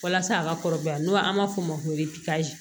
Walasa a ka kɔrɔbaya n'o an b'a fɔ o ma ko